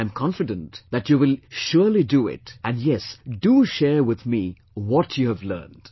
I am confident that you will surely do it and, yes, do share with me what you have learned